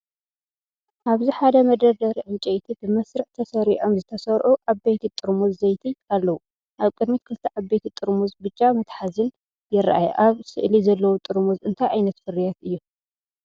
ኣብዚ ሓደ መደርደሪ ዕንጨይቲ፡ ብመስርዕ ተሰሪዖም ዝተሰርዑ ዓበይቲ ጥርሙዝ ዘይቲ ኣለዉ። ኣብ ቅድሚት ክልተ ዓበይቲ ጥርሙዝ ብጫ መትሓዚን ይረኣያ። ኣብ ስእሊ ዘለዉ ጥርሙዝ እንታይ ዓይነት ፍርያት እዮም?